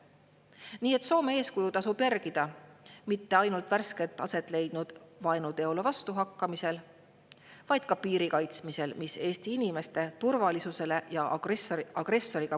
Nii et Soome eeskuju tasub järgida mitte ainult värskelt aset leidnud vaenuteole vastuhakkamisel, vaid ka piiri kaitsmisel, mis Eesti inimeste turvalisusele ja agressoriga võitlevale Ukrainale reaalset kasu tooks.